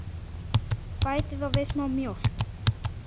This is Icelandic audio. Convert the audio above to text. Bætið þá við smá mjólk.